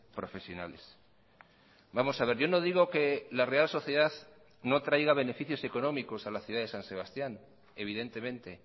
profesionales vamos a ver yo no digo que la real sociedad no traiga beneficios económicos a la ciudad de san sebastián evidentemente